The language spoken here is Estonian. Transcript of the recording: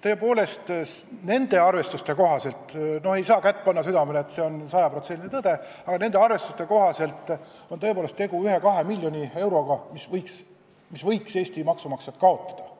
Nende arvestuste kohaselt – ei saa panna kätt südamele, et see on sada protsenti tõde –, aga nende arvestuste kohaselt on tegu 1–2 miljoni euroga, mis Eesti maksumaksjad võiks kaotada,